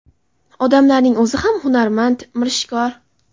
Odamlarning o‘zi ham hunarmand, mirishkor.